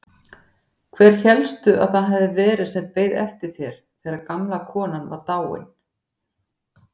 Hver hélstu að það hefði verið sem beið eftir þér þegar gamla konan var dáin?